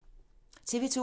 TV 2